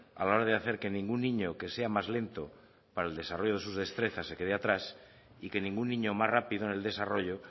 a la hora de hacer que ningún niño que sea más lento para el desarrollo de sus destrezas se quede atrás y que ningún niño más rápido en el desarrollo